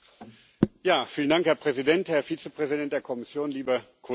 Herr Präsident, Herr Vizepräsident der Kommission, liebe Kolleginnen und Kollegen!